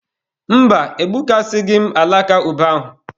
Mba, egbukasịghị m alaka ube ahụ.